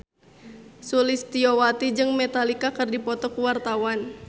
Sulistyowati jeung Metallica keur dipoto ku wartawan